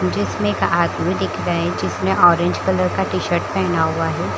जिसमे एक आदमी दिख रहे है जिसने ऑरेंज कलर का टीशर्ट पहना हुआ है।